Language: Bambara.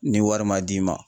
Ni wari man d'i ma.